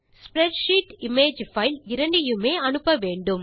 spreadsheet image file இரண்டையுமே அனுப்ப வேண்டும்